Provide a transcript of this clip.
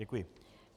Děkuji.